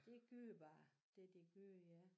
Det gør bare det det gør ja